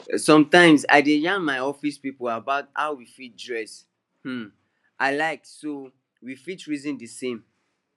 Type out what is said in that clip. sometimes i dey yarn my office people about how we fit dress um alike so we fit reason the same